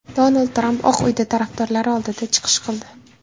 Donald Tramp Oq uyda tarafdorlari oldida chiqish qildi.